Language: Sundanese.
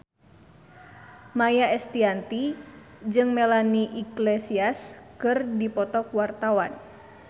Maia Estianty jeung Melanie Iglesias keur dipoto ku wartawan